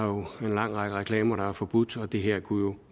jo har en lang række reklamer der er forbudt og det her kunne